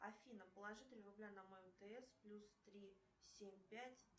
афина положи три рубля на мой мтс плюс три семь пять